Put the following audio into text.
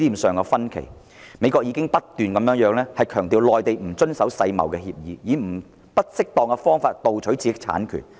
美國不斷強調內地不遵守世界貿易協議，以不適當方法盜取知識產權。